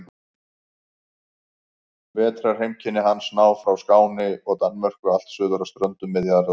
Vetrarheimkynni hans ná frá Skáni og Danmörku allt suður að ströndum Miðjarðarhafs.